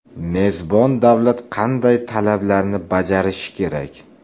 Mezbon davlat qanday talablarni bajarishi kerak?.